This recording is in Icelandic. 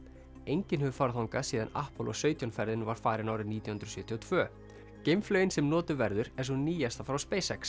enginn hefur farið þangað síðan sautján ferðin var farin árið nítján hundruð sjötíu og tvö geimflaugin sem notuð verður er sú nýjasta frá